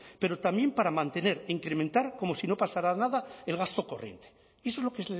pero también para mantener e incrementar como si no pasara nada el gasto corriente y eso es lo que